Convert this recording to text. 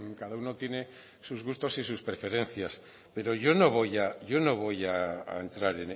cada uno tiene sus gustos y sus preferencias pero yo no voy a entrar